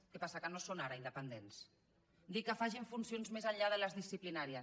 què passa que no ho són ara d’independents dir que facin funcions més enllà de les disciplinàries